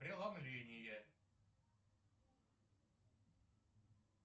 преломление